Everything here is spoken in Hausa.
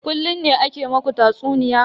Kullun ne ake ma ku tatsuniya?